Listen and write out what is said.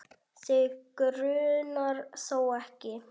Þig grunar þó ekki?